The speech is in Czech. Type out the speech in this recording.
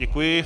Děkuji.